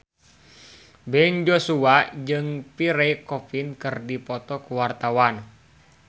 Ben Joshua jeung Pierre Coffin keur dipoto ku wartawan